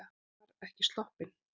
Hann var ekki sloppinn.